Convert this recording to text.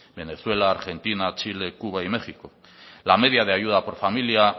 venezuela argentina chile cuba y méxico la media de ayuda por familia